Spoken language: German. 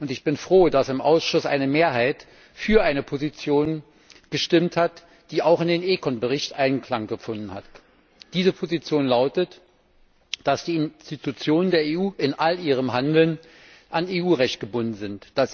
Ich bin froh, dass im Ausschuss eine Mehrheit für eine Position gestimmt hat, die auch in den ECON Bericht Eingang gefunden hat. Diese Position lautet, dass die Institutionen der EU in all ihrem Handeln an EU Recht gebunden sind.